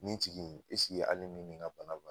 Ni tigi nin hali ni nin ka bana